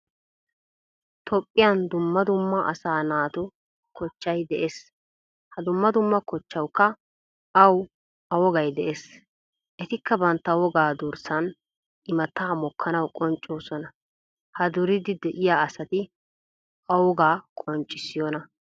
Toophphiyan dumma dumma asaa naatu kochchay de"ees. Ha dumma dumma kochchawukka awu A wogay de'ees. Ettika bantta wogaa durssan, immata mokuwan qonccisosona. Ha duridi deiya asati Owoga qonccissiyona?